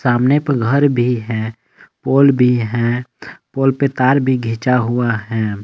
सामने पे घर भी है पोल भी हैं पोल पे तार भी घिंचा हुआ है।